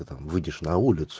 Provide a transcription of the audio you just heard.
ты там выйдешь на улицу